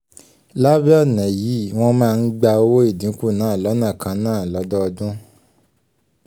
lábẹ́ ọ̀nà yìí wọ́n máa ń gba owó ìdínkù náà lọ́nà kan náà lọ́dọọdún